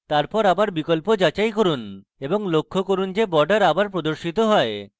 তারপর আবার বিকল্প যাচাই করুন এবং লক্ষ্য করুন যে borders আবার প্রদর্শিত হয়